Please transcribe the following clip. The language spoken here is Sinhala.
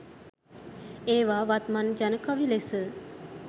ඒවා වත්මන් ජන කවි ලෙස